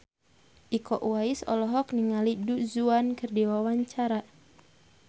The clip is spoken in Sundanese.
Iko Uwais olohok ningali Du Juan keur diwawancara